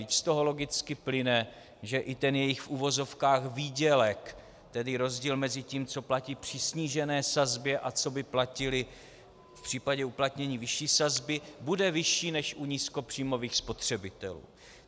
Vždyť z toho logicky plyne, že i ten jejich v uvozovkách výdělek, tedy rozdíl mezi tím, co platí při snížené sazbě a co by platili v případě uplatnění vyšší sazby, bude vyšší než u nízkopříjmových spotřebitelů.